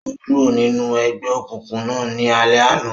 O kúrò ninú egbeokunkun náà ní alẹ àna